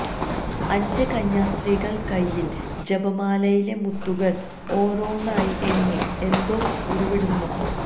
അഞ്ച് കന്യാസ്ത്രീകള് കൈയ്യില് ജപമാലയിലെ മുത്തുകള് ഓരോന്നായി എണ്ണി എന്തോ ഉരുവിടുന്നു